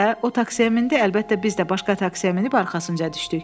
Belə də o taksiyə mindi, əlbəttə biz də başqa taksiyə minib arxasınca düşdük.